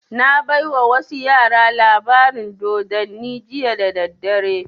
Na baiwa wasu yara labarin dodanni jiya da daddare